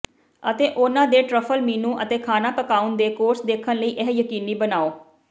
ਅਤੇ ਉਨ੍ਹਾਂ ਦੇ ਟਰਫਲ ਮੀਨੂ ਅਤੇ ਖਾਣਾ ਪਕਾਉਣ ਦੇ ਕੋਰਸ ਦੇਖਣ ਲਈ ਇਹ ਯਕੀਨੀ ਬਣਾਉ